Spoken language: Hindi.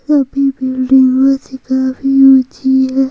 सभी वीडियोस काफी होती है।